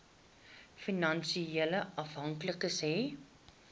finansiële afhanklikes hê